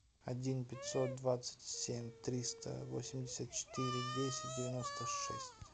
один пятьсот двадцать семь триста восемьдесят четыре десять девяносто шесть